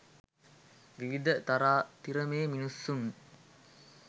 විවිධ තරාතිරමේ මිනිසුන්